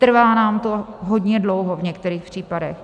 Trvá nám to hodně dlouho v některých případech.